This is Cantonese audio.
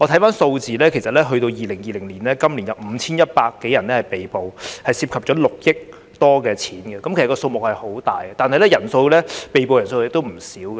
從數字可見 ，2020 年共有5100多人被捕，涉及6億多元的投注金額，數目相當大，而被捕人數亦不少。